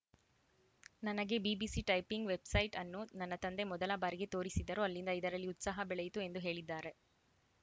ನನಗೆ BBC typing website ಅನ್ನು ನನ್ನ ತಂದೆ ಮೊದಲ ಬಾರಿಗೆ ತೋರಿಸಿದರು ಅಲ್ಲಿಂದ ಇದರಲ್ಲಿ ಉತ್ಸಾಹ ಬೆಳೆಯಿತು ಎಂದು ಹೇಳಿದ್ದಾರೆ